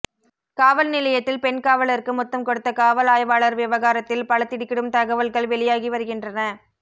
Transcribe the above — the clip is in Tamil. காவல் நிலையத்தில் பெண் காவலருக்கு முத்தம் கொடுத்த காவல் ஆய்வாளர் விவகாரத்தில் பல திடுக்கிடும் தகவல்கள் வெளியாகிவருகின்றன